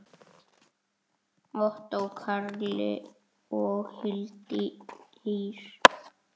Ottó Karli og Hildi Ýr.